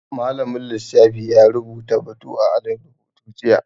Malamin lissafi ya rubuta batu a alin rubutu jiya